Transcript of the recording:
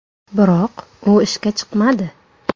Biroq u ishga chiqmadi.